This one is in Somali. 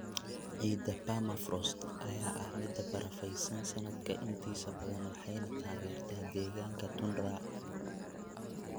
Ciidda Permafrost ayaa ah mid barafaysan sanadka intiisa badan waxayna taageertaa deegaanka tundra.